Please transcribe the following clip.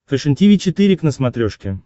фэшен тиви четыре к на смотрешке